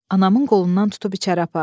Anamın qolundan tutub içəri apardım.